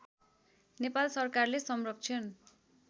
नेपाल सरकारले संरक्षण